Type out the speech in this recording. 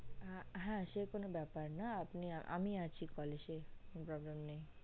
হ্যা সেকোনো ব্যাপার না আপনি আমি আছি as কোনো problem নেই